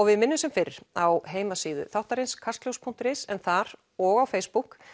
við minnum sem fyrr á heimasíðu þáttarins kastljós punktur is en þar og á Facebook